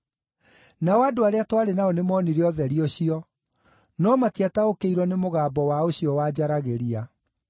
Nao andũ arĩa twarĩ nao nĩmoonire ũtheri ũcio, no matiataũkĩirwo nĩ mũgambo wa ũcio wanjaragĩria.